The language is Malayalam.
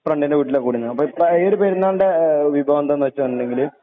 ഫ്രണ്ടിന്റെ വീട്ടില് കൂടിയിരുന്നു.ഇക്ക ഈയൊരു പെരുന്നാളിന്റെ വിഭവം എന്താന്നു വെച്ചാല്